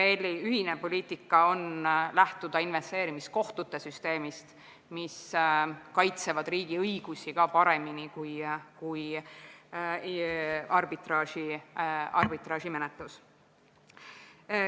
Euroopa Liidu ühine poliitika on see, et lähtutakse investeerimiskohtute süsteemist, mis kaitseb riigi õigusi paremini kui arbitraažimenetlus.